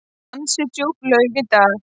Ansi djúp laug í dag.